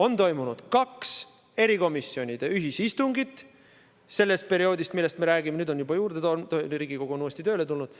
On toimunud kaks erikomisjonide ühisistungit sellest perioodist, millest me räägime, nüüd on neid juba juurde tulnud, Riigikogu on uuesti tööle tulnud.